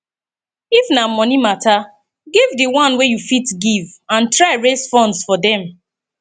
if na money matter give di one wey you fit give and try raise funds for dem